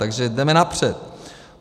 Takže jdeme napřed.